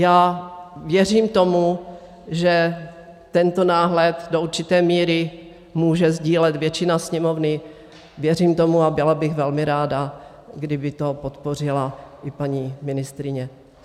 Já věřím tomu, že tento náhled do určité míry může sdílet většina Sněmovny, věřím tomu a byla bych velmi ráda, kdyby to podpořila i paní ministryně.